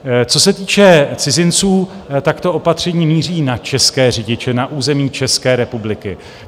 Co se týče cizinců, tak to opatření míří na české řidiče na území České republiky.